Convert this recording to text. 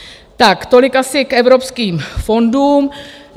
Tak tolik asi k evropským fondům.